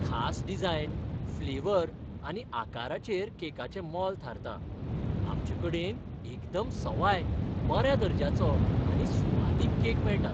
खास design, flavour आनी आकाराचेर केकाचें मोल थारता. आमचें कडेन एकदम सवाय, बऱ्या दर्ज्याचो आनी सुवादीक केक मेळटात.